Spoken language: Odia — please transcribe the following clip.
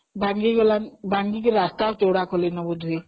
ଭାଙ୍ଗି ଗଲାଣି, ଭାଙ୍ଗିକି ରାସ୍ତା ଚଉଡ଼ା କଲେଣି ଡୁବୁରି କି